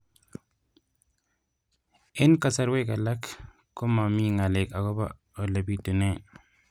Eng' kasarwek alak ko mami ng'alek akopo ole pitunee